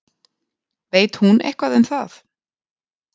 Veit hún eitthvað um það?